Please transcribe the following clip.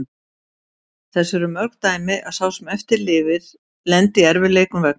Þess eru mörg dæmi að sá sem eftir lifir lendi í erfiðleikum vegna þessa.